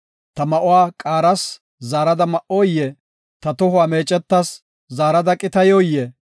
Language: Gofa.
Ta ma7uwa qaaras, zaarada ma7oyee? Ta tohuwa meecetas, zaarada qitayoyee?